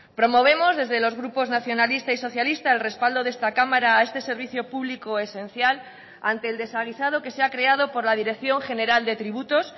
promovemos desde los grupos nacionalista y socialista el respaldo de esta cámara a este servicio público esencial ante el desaguisado que se ha creado por la dirección general de tributos